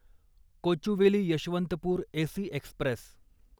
Kochuveli Yesvantpur AC Express